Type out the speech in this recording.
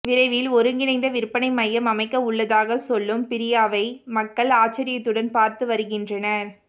விரைவில் ஒருங்கிணைந்த விற்பனை மையம் அமைக்க உள்ளதாக சொல்லும் பிரியாவை மக்கள் ஆச்சர்யத்துடன் பார்த்து வருகின்றனர்